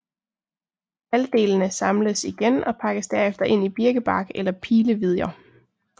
Halvdelene samles igen og pakkes derefter ind i birkebark eller pilevidjer